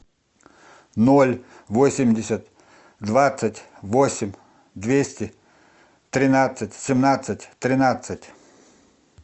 ноль восемьдесят двадцать восемь двести тринадцать семнадцать тринадцать